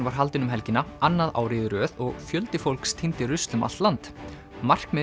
var haldinn um helgina annað árið í röð og fjöldi fólks tíndi rusl um allt land markmiðið